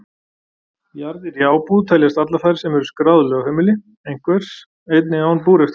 Jarðir í ábúð teljast allar þær sem eru skráð lögheimili einhvers, einnig án búrekstrar.